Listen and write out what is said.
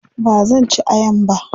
bazan ci ayan ba